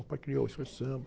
O pai criou a escolha de samba.